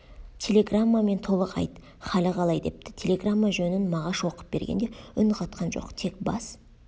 телеграммамен толық айт халі қалай депті телеграмма жөнін мағаш оқып бергенде үн қатқан жоқ тек бас